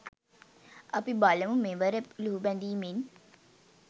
අපි බලමු මෙවර ලුහුබැඳීමෙන්